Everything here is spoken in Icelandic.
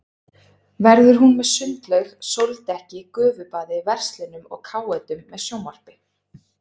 Verður hún með sundlaug, sóldekki, gufubaði, verslunum og káetum með sjónvarpi.